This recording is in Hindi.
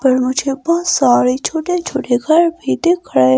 पर मुझे बहुत सारे छोटे छोटे घर भी दिख रहे--